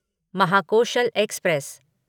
Mahakoshal express